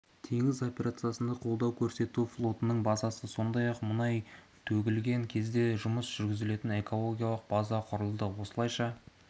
теңіз операциясына қолдау көрсету флотының базасы сондай-ақ мұнай төгілген кезде жұмыс жүргізетін экологиялық база құрылды осылайша